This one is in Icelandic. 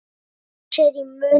Og taka sér í munn.